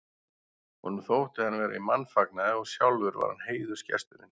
Honum þótti hann vera í mannfagnaði og sjálfur var hann heiðursgesturinn.